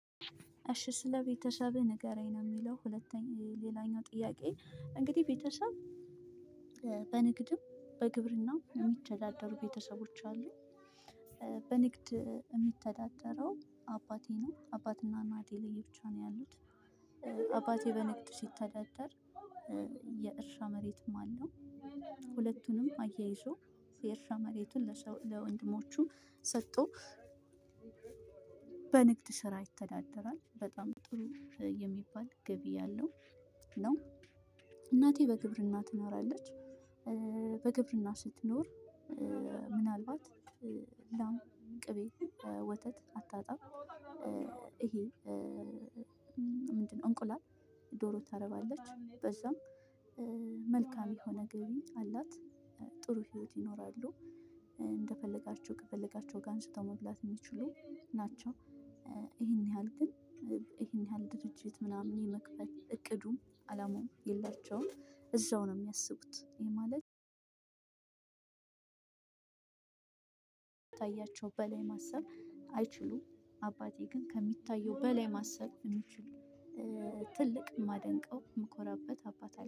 እሺ ስለ ቤተሰብህ ንገረኝ ነው የሚለው ሁለተኛ ሌላኛው ጥያቄ እንግዲ ቤተሰብ በንግድም በግብርናም የሚተዳደሩ ቤተሰቦች አሉ። በንግድ የሚተዳደረው አባቴ ነው አባትና እናቴ ለየ ብቻ ነው ያሉት። አባቴ በንግድ ሲተዳደር የእርሻ መሬትም አለው። ሁለቱንም አያይዞ የእርሻ መሬቱን ለሰው ለወንድሞችሁ ሰቶ። በንግድ ስራ ይተዳደራል በጣም ጥሩ የሚባል ግቢ አለው። ነው እናቴ በግብርና ትኖራለች። በግብርና ስትኖር ምናልባት ላም ቅቤ ወተት አታጣም። ይሄ ምንድነው? እንቁላል ዶሮ ታረባለች። በዛም መልካም የሆነ ገቢ አላት። ጥሩ ህይወት ይኖራሉ። እንደፈለጋችሁ ከፈለጋችው ጋር አንስተው መብላት የሚችሉ ናቸው። ይሄን ያህል ግን ይሄን ያህል ድርጅት ምናምን የመክፈት እቅዱም አላማውም የላቸውም። እዛው ነው የሚያስቡት ይሄ ማለት አያቸው በላይ ማሰብ አይችሉም። አባቴ ግን ከሚታየው በላይ ማሰብ የሚችሉ ትልቅ የማደንቀው የምኮራበት አባት አለ